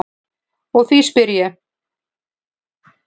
Og því spyr ég.